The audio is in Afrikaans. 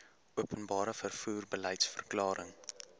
openbare vervoer beliedsverklaring